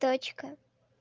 точка